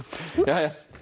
jæja